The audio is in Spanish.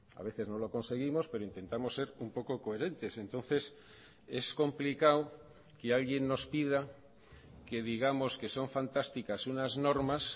a veces no lo conseguimos pero intentamos ser un poco coherentes entonces es complicado que alguien nos pida que digamos que son fantásticas unas normas